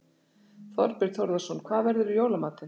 Þorbjörn Þórðarson: Hvað verður í jóla matinn?